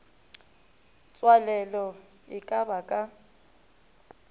tswalelo e ka ba ka